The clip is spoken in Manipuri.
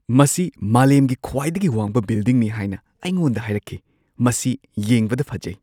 ꯃꯁꯤ ꯃꯥꯂꯦꯝꯒꯤ ꯈ꯭ꯋꯥꯏꯗꯒꯤ ꯋꯥꯡꯕ ꯕꯤꯜꯗꯤꯡꯅꯤ ꯍꯥꯏꯅ ꯑꯩꯉꯣꯟꯗ ꯍꯥꯏꯔꯛꯈꯤ꯫ ꯃꯁꯤ ꯌꯦꯡꯕꯗ ꯐꯖꯩ!